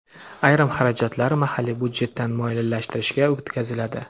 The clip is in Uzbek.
ayrim xarajatlar mahalliy byudjetdan moliyalashtirishga o‘tkaziladi.